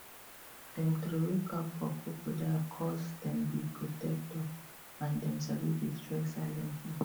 dem throway cap for crocodiles coz dem be protector um and dem sabi destroy silently